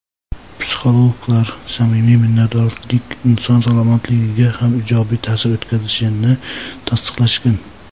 Psixologlar samimiy minnatdorlik inson salomatligiga ham ijobiy taʼsir o‘tkazishini tasdiqlashgan.